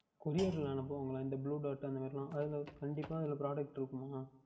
Courier யில் அனுப்புவார்களா இந்த Blue Bag அந்த மாதிரி எல்லாம் அதில் கண்டிப்பாக Product இருக்குமா